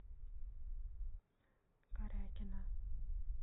корякина